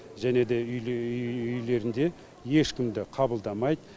және де үйлерінде ешкімді қабылдамайды